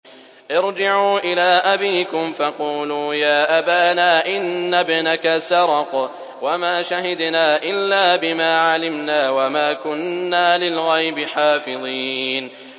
ارْجِعُوا إِلَىٰ أَبِيكُمْ فَقُولُوا يَا أَبَانَا إِنَّ ابْنَكَ سَرَقَ وَمَا شَهِدْنَا إِلَّا بِمَا عَلِمْنَا وَمَا كُنَّا لِلْغَيْبِ حَافِظِينَ